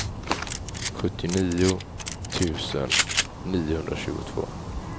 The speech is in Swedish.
sjuttionio tusen niohundratjugotvå